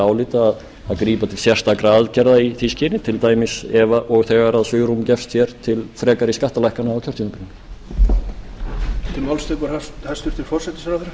álita að grípa til sérstakra aðgerða í því skyni til dæmis ef og þegar svigrúm gefst hér til frekari skattalækkana á kjörtímabilinu